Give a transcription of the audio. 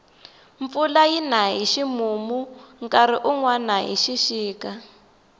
mpfula yina hi ximumu nkarhi wunwani hi xixika